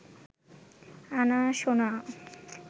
আনা সোনা